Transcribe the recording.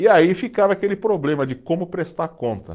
E aí ficava aquele problema de como prestar conta.